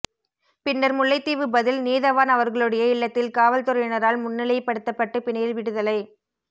பின்னர் முல்லைத்தீவு பதில் நீதவான் அவர்களுடைய இல்லத்தில் காவல்துறையினரால் முன்னிலைப்படுத்தப்பட்டு பிணையில் விடுதலை